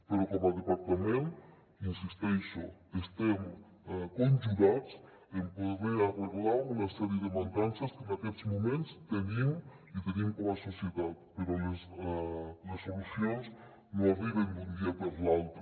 però com a departament hi insisteixo estem conjurats en poder arreglar una sèrie de mancances que en aquests moments tenim i tenim com a societat però les solucions no arriben d’un dia per l’altre